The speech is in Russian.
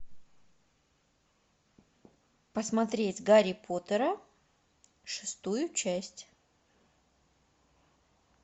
посмотреть гарри поттера шестую часть